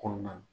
Kɔnɔna na